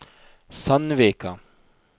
Sandvika